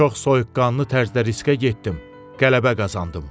Çox soyuqqanlı tərzdə riskə getdim, qələbə qazandım.